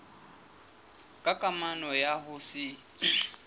ka kamano ya ho se